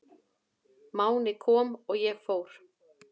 Máni kom og ég fór.